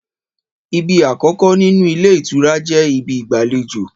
Ìbí àkọkọ nínú ilé ìtura jẹ ìbí ìgbàléjo.